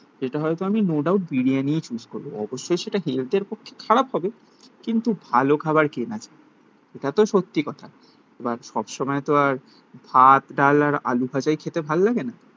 যেটা হয়তো আমি নো ডাউট বিরিয়ানি চুজ করবো অবশ্যই সেটা হেলথের পক্ষে খারাপ হবে কিন্তু ভালো খাবার কিনা এটা তো সত্যি কথা বাট সব সময় তো আর ভাত ডাল আর আলুভাজাই খেতে ভাল লাগে না